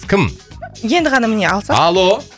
кім енді ғана міне алса алло